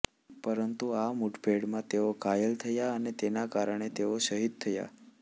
પરંતુ આ મુઠભેડમાં તેઓ ઘાયલ થયા અને તેને કારણે તેઓ શહીદ થયા